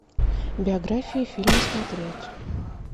биографии фильмы смотреть